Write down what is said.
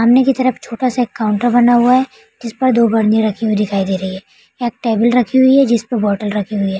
सामने के तरफ छोटा-सा काउंटर बना हुआ है जिस पर दो बरनी रखी हुई दिखाई दे रही है एक टेबल रखी हुई है जिस पर बॉटल रखी हुई है।